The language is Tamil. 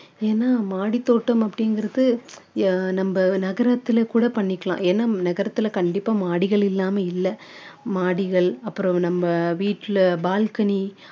ஏன்னா மாடி தோட்டம் அப்படிங்கிறது யா~ நம்ம நகரத்துலயே கூட பண்ணிக்கலாம் ஏன்னா நகரத்துல்ல கண்டிப்பா மாடிகள் இல்லாம இல்ல மாடிகள் அப்பறம் நம்ம வீட்டுல balcony